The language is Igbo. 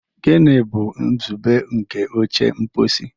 Gịnị bụ nzube nke oche mposi?